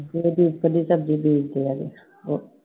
ਜਿਹੜਾ ਦੀ ਸਬਜ਼ੀ ਵੇਚਦੇ ਹੈਗੇ I